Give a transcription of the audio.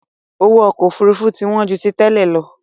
Owó ọkọ Òfurufú ti wọn ju tí tẹ́lẹ̀ lọ